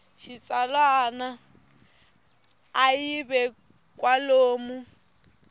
xitsalwana a yi ve kwalomu